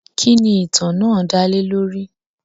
Kínní ìtàn náà dálè lórí?